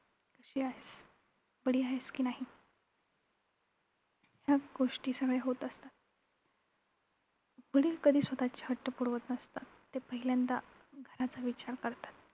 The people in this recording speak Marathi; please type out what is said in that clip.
कशी आहेस, बरी आहेस कि नाही याच सगळ्या गोष्टी होत असतात. वडील कधीही स्वतःचे हट्ट पुरवत नसतात, ते पहिल्यांदा घराचा विचार करतात.